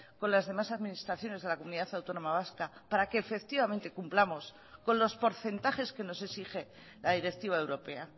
con las demás administraciones de la comunidad autónoma vasca para que efectivamente cumplamos con los porcentajes que nos exige la directiva europea